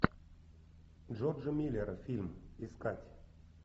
джорджа миллера фильм искать